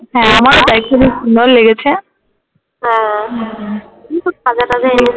হ্যাঁ আমারও তাই খুবই সুন্দর লেগেছে হ্যাঁ